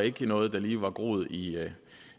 ikke var noget der lige var groet i